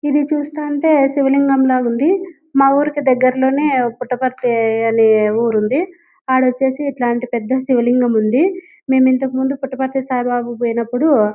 ఇది చూస్తుంటే శివ లింగం లాగా ఉంది. మా ఊరు కి దగ్గర్లోనే ఫుట్పాత్తి అని ఊరు ఉంది. ఆడ వచ్చేసి ఇట్లాంటి పెద్ద శివ లింగం ఉంది. మెం ఇంతకు ముందు పూటపతి సాయిబాబాకి పోయినపుడు --